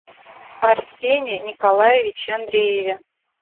арсене николаевиче андрееве